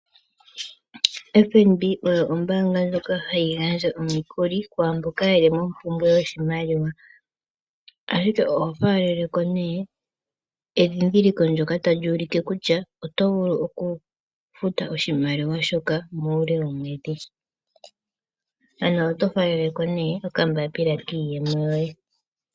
FNB oyo ombaanga ndjoka hayi gandja omikuli kwaamboka yeli mompumbwe yoshimaliwa, ashike oho faaleleko endhindhiliko ndyoka tali ulike kutya oto vulu okufuta oshimaliwa shoka muule womwedhi, ano oto faaleleko okambaapila kiiyemo yoye.